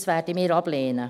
Das werden wir ablehnen.